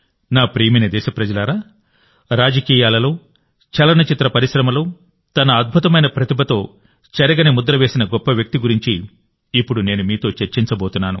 నా ప్రియమైన దేశప్రజలారారాజకీయాలలో చలనచిత్ర పరిశ్రమలో తన అద్భుతమైన ప్రతిభతో చెరగని ముద్ర వేసిన గొప్ప వ్యక్తి గురించి ఇప్పుడు నేను మీతో చర్చించబోతున్నాను